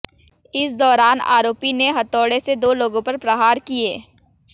इस दौरान आरोपी ने हथौड़े से दो लोगों पर प्रहार किए